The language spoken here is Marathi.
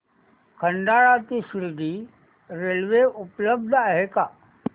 खंडाळा ते शिर्डी रेल्वे उपलब्ध आहे का